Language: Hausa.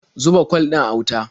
Zuba kwal ɗin a wuta.